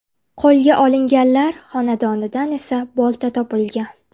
Qo‘lga olinganlar xonadonidan esa bolta topilgan.